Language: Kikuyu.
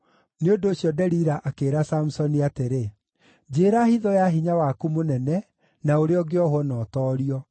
Nĩ ũndũ ũcio Delila akĩĩra Samusoni atĩrĩ, “Njĩĩra hitho ya hinya waku mũnene, na ũrĩa ũngĩohwo na ũtoorio.”